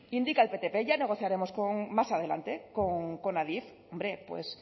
indica el ptp ya negociaremos con más adelante con adif hombre pues